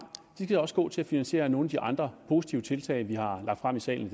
også skal gå til at finansiere nogle af de andre positive tiltag vi har lagt frem i salen